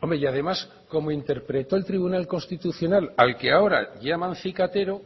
hombre y además como interpretó el tribunal constitucional al que ahora llaman cicatero